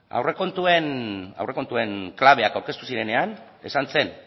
aurrekontuen klabeak aurkeztu zirenean esan zen